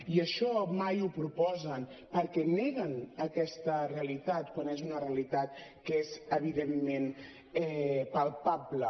i això mai ho proposen perquè neguen aquesta realitat quan és una realitat que és evidentment palpable